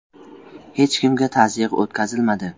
“Hech kimga tazyiq o‘tkazilmadi.